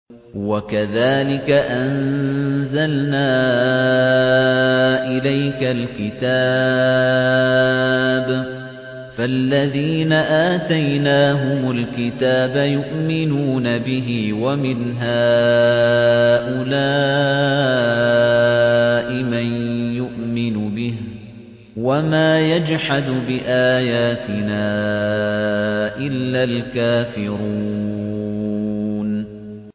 وَكَذَٰلِكَ أَنزَلْنَا إِلَيْكَ الْكِتَابَ ۚ فَالَّذِينَ آتَيْنَاهُمُ الْكِتَابَ يُؤْمِنُونَ بِهِ ۖ وَمِنْ هَٰؤُلَاءِ مَن يُؤْمِنُ بِهِ ۚ وَمَا يَجْحَدُ بِآيَاتِنَا إِلَّا الْكَافِرُونَ